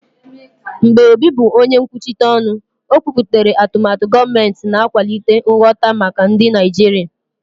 Mgbe Obi bụ onye nkwuchite ọnụ, o kwupụtara atụmatụ gọọmentị, na-akwalite nghọta maka ndị Naijiria.